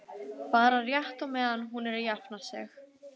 Bara rétt á meðan hún er að jafna sig.